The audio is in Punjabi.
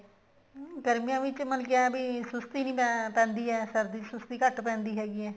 ਹਮ ਗਰਮੀਆਂ ਵਿੱਚ ਮਤਲਬ ਏਵੇਂ ਕੀ ਸੁਸਤੀ ਨੀ ਪੈਂਦੀ ਹੈ ਸਰਦੀਆਂ ਚ ਸੁਸਤੀ ਘੱਟ ਪੈਂਦੀ ਹੈਗੀ ਆ